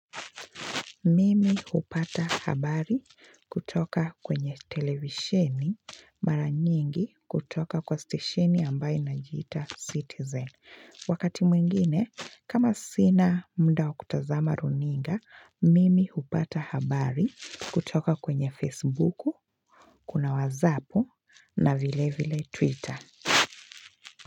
Mimi hupata habari kutoka kwenye televisheni mara nyingi kutoka kwa stesheni ambaye inajiita citizen. Wakati mwingine, kama sina mda wa kutazama runinga, mimi hupata habari kutoka kwenye facebooku, kuna wazapu na vile vile twitter.